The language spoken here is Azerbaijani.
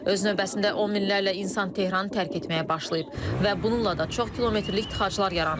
Öz növbəsində on minlərlə insan Tehranı tərk etməyə başlayıb və bununla da çox kilometrlik tıxaclar yaranıb.